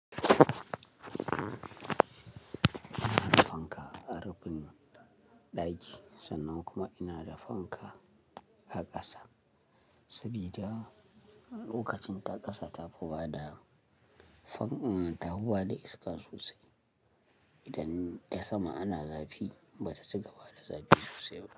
Ina da fanka a rufin ɗaki sannan kuma ina da fanka a ƙasa saboda lokacin ta ƙasa ta fi bada, fan, ta huwa da iska sosai idan ta sama ana zafi bata cigaba da zafi sosai ba.